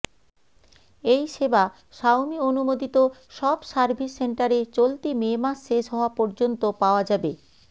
এই সেবা শাওমি অনুমোদিত সব সার্ভিস সেন্টারে চলতি মে মাস শেষ হওয়া পর্যন্ত পাওয়া যাবে